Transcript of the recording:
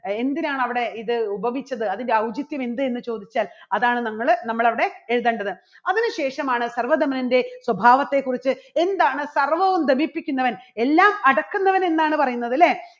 അഹ് എന്തിനാണ് അവിടെ ഇത് ഉപമിച്ചത് അതിൻറെ ഔചിത്യം എന്ത് എന്ന് ചോദിച്ചാൽ അതാണ് നമ്മള് നമ്മളവിടെ എഴുതേണ്ടത്. അതിനുശേഷം ആണ് സർവ്വധമനൻറെ സ്വഭാവത്തെക്കുറിച്ച് എന്താണ് സർവ്വവും ധമിപ്പിക്കുന്നവൻ എല്ലാം അടക്കുന്നവൻ എന്നാണ് പറയുന്നത് അല്ലേ?